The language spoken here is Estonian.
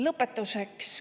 Lõpetuseks.